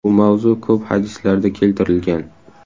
Bu mavzu ko‘p hadislarda keltirilgan.